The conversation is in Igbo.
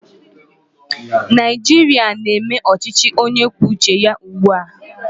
Naijiria na-eme ochichi onye kwuo uche ya ugbu a